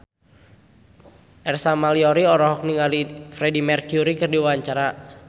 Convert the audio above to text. Ersa Mayori olohok ningali Freedie Mercury keur diwawancara